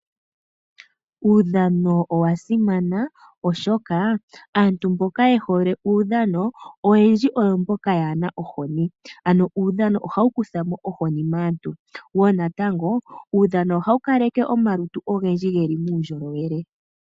Uudhano owa simana, oshoka aantu mboka ye hole uudhano oyendji oyo mboka yaana ohoni, ano uudhano ohawu kutha mo ohoni maantu, wo natango, uudhano ohawu kaleke omalundji ogendji geli muundjolowele.